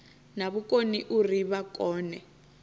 na vhukoni uri vha kone